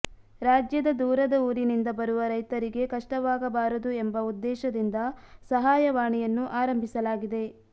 ರಾಜ್ಯದ ದೂರದ ಊರಿನಿಂದ ಬರುವ ರೈತರಿಗೆ ಕಷ್ಟವಾಗಬಾರದು ಎಂಬ ಉದ್ದೇಶದಿಂದ ಸಹಾಯವಾಣಿಯನ್ನು ಆರಂಭಿಸಲಾಗಿದೆ